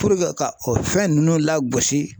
Puruke ka o fɛn ninnu lagosi.